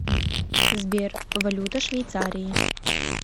сбер валюта швейцарии